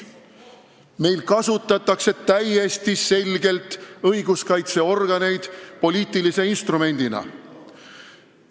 Meil kasutatakse õiguskaitseorganeid täiesti selgelt poliitilise instrumendina.